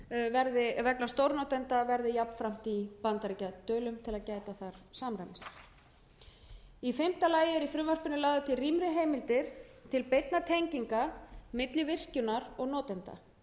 að tekjumörkin vegna stórnotanda verði jafnframt í bandaríkjadölum til að gæta þar samræmis í fimmta lagi eru í frumvarpinu lagðar til rýmri heimildir til beinna tenginga milli virkjunar og notenda